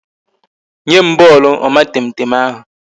Nye m bọọlụ omatemtem ahụ